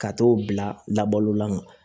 Ka t'o bila labalo la